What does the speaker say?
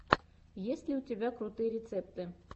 есть ли у тебя крутые рецепты